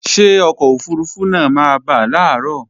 Ṣé ọkọ̀ òfurufú náà máa bà làárọ̀